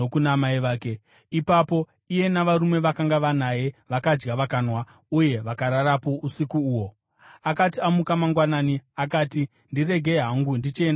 Ipapo iye navarume vakanga vanaye vakadya vakanwa, uye vakararapo usiku uho. Akati amuka mangwanani, akati, “Ndiregei hangu ndichienda kuna tenzi wangu.”